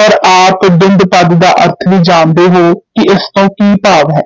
ਔਰ ਆਪ ਦੰਦ ਪਦ ਦਾ ਅਰਥ ਵੀ ਜਾਣਦੇ ਹੋ ਕਿ ਇਸ ਤੋਂ ਕੀ ਭਾਵ ਹੈ,